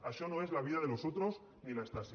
això no és la vida de los otros ni la stasi